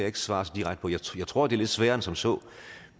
ikke svare så direkte på jeg tror det er lidt sværere end som så